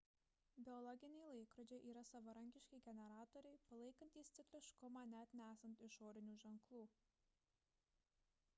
biologiniai laikrodžiai yra savarankiški generatoriai palaikantys cikliškumą net nesant išorinių ženklų